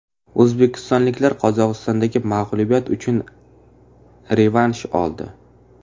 O‘zbekistonliklar Qozog‘istondagi mag‘lubiyat uchun revansh oldi.